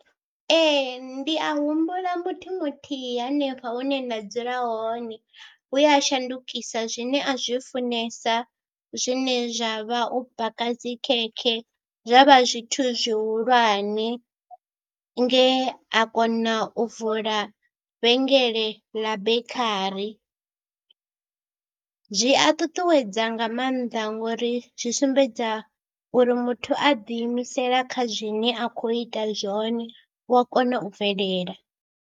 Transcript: Ee ndi a humbula muthu muthihi hanefho hune nda dzula hone we a shandukisa zwine a zwi funesa, zwine zwa vha u baka dzi khekhe, zwa vha zwithu zwihulwane nge a kona u vula vhengele ḽa bekhari. Zwi a ṱuṱuwedza nga maanḓa ngori zwi sumbedza uri muthu a ḓiimisela kha zwine a khou ita zwone u a kona u bvelela.